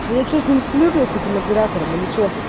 я что с ним сплю блять с этим оператором или что